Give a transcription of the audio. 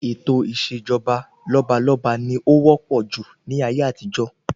Ètò ìṣèjọba lọ́balọ́ba ni ó wópò jù ní ayé àtijó.